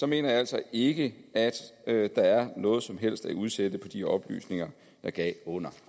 mener jeg altså ikke at der er noget som helst at udsætte på de oplysninger jeg gav under